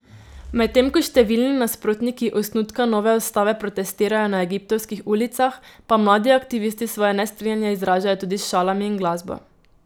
Medtem ko številni nasprotniki osnutka nove ustave protestirajo na egiptovskih ulicah, pa mladi aktivisti svoje nestrinjanje izražajo tudi s šalami in glasbo.